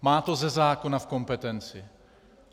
Má to ze zákona v kompetenci.